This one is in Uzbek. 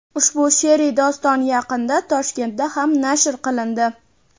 Ushbu she’riy doston yaqinda Toshkentda ham nashr qilindi.